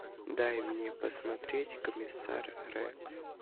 дай мне посмотреть комиссар рекс